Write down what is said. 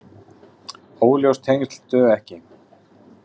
Óljós tengsl duga ekki.